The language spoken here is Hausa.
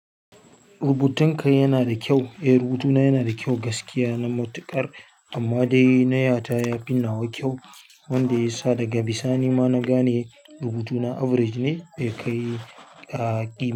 Rubutun ka yana da kyau. Eh rubutuna yana da kyau gaskiya na matuƙar amma dai na ya ta ya fi nawa kyau wanda ya sa daga bisani ma na gane rubutuna average ne dai kai a ƙima.